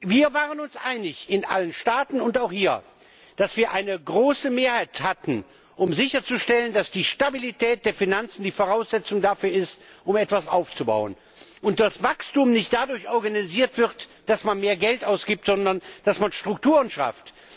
Wir waren uns einig in allen Staaten und auch hier, dass wir eine große Mehrheit hatten, um sicherzustellen, dass die Stabilität der Finanzen die Voraussetzung dafür ist, etwas aufzubauen, und dass Wachstum nicht dadurch organisiert wird, dass man mehr Geld ausgibt, sondern dass man Strukturen schafft.